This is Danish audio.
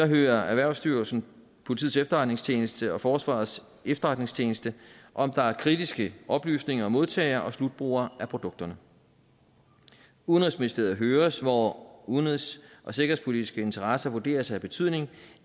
hører erhvervsstyrelsen politiets efterretningstjeneste og forsvarets efterretningstjeneste om der er kritiske oplysninger om modtager og slutbruger af produkterne udenrigsministeriet høres hvor udenrigs og sikkerhedspolitiske interesser vurderes at have betydning